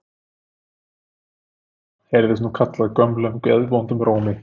Hver er þar? heyrðist nú kallað gömlum geðvondum rómi.